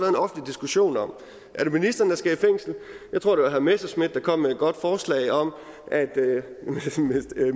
en offentlig diskussion om er det ministeren der skal i fængsel jeg tror det messerschmidt der kom med et godt forslag om at